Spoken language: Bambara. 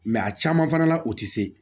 a caman fana la u tɛ se